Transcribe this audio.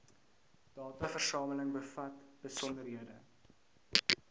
dataversameling bevat besonderhede